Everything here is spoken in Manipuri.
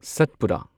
ꯁꯠꯄꯨꯔꯥ